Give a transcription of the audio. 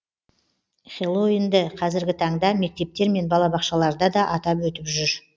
хэллоуинді қазіргі таңда мектептер мен балабақшаларда да атап өтіп жүр